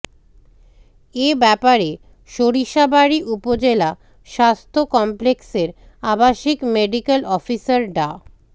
এ ব্যাপারে সরিষাবাড়ী উপজেলা স্বাস্থ্য কমপ্লেক্সের আবাসিক মেডিকেল অফিসার ডা